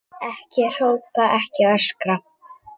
Ekki hrópa, ekki öskra!